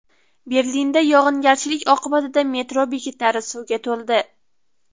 Berlinda yog‘ingarchilik oqibatida metro bekatlari suvga to‘ldi .